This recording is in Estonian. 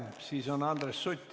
Järgmine on Andres Sutt.